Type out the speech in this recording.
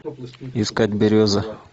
искать береза